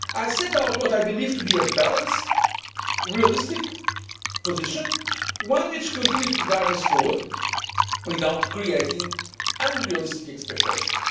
week. I set out what I believe to be a balanced, realistic position one which continues to drive us forward without creating unrealistic expectations.